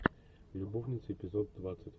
любовницы эпизод двадцать